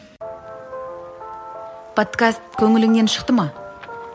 подкаст көңіліңнен шықты ма